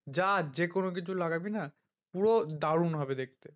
যা যেকোনো কিছু লাগাবি না পুরো দারুন হবে দেখতে।